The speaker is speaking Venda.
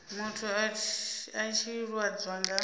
muthu a tshi lwadzwa nga